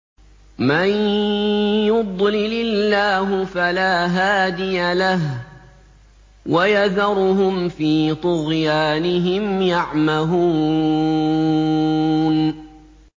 مَن يُضْلِلِ اللَّهُ فَلَا هَادِيَ لَهُ ۚ وَيَذَرُهُمْ فِي طُغْيَانِهِمْ يَعْمَهُونَ